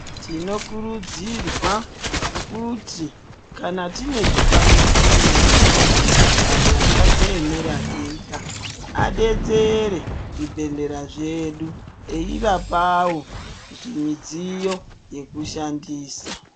Tinokurudzirwa kuti kana tine zvikwanisiro kana mapato akadziemera ega adetsere zvibhedhlera zvedu eivapawo zvimidziyo yekushandisa.